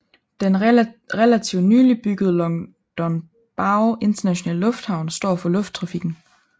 Den relativt nylig byggede Longdongbao Internationale Lufthavn står for lufttrafikken